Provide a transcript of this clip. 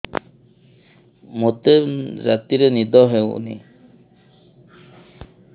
ମୋତେ ରାତିରେ ନିଦ ହେଉନି